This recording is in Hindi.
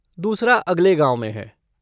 दूसरा, अगले गाँव में है।